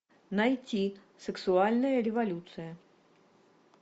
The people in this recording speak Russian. найти сексуальная революция